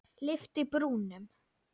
Lyfti brúnum.